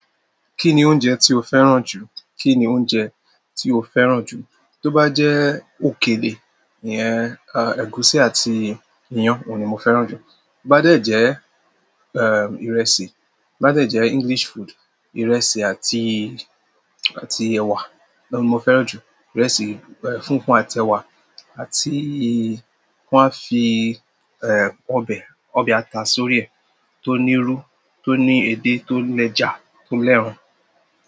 Kí ni oúnjẹ tí o fẹ́ràn jù? Kí ni oúnjẹ tí o fẹ́ràn jù? Tóbá jẹ́ òkèlè nìyẹn, à, ẹ̀gúsí àti iyán òun ni mo fẹ́ràn jù. Toba dẹ jẹ ẹ ìrẹsì, toba dẹ jẹ English food ìrẹsì àti ẹwa ni mo fẹ́ràn ju. Ìrẹsì, eh, fúnfún àti ẹwà àti kí wọ́n á fi, eh, ọbẹ̀, ọbẹ̀ ata sórí ẹ̀ tó ní irú, tó ní èdè tó le jà tó lẹ́ran.